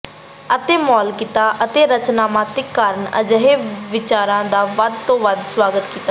ਅਤੇ ਮੌਲਿਕਤਾ ਅਤੇ ਰਚਨਾਤਮਕਤਾ ਕਾਰਨ ਅਜਿਹੇ ਵਿਚਾਰਾਂ ਦਾ ਵੱਧ ਤੋਂ ਵੱਧ ਸੁਆਗਤ ਕੀਤਾ ਜਾਂਦਾ ਹੈ